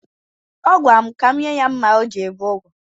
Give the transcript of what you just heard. Ọ gwara m ka m nye ya mma o ji ebe ụgụ.